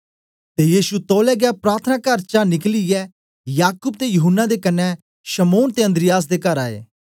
ते यीशु तौलै गै प्रार्थनाकार चा निकलियै याकूब ते यूहन्ना दे कन्ने शमौन ते अन्द्रियास दे कर आए